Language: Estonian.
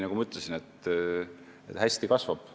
Nagu ma ütlesin, et hästi kasvab.